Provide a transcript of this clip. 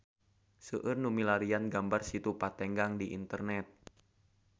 Seueur nu milarian gambar Situ Patenggang di internet